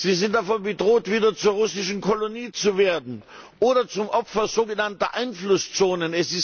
Sie sind davon bedroht, wieder zur russischen Kolonie zu werden oder zum Opfer von sogenannten Einflusszonen.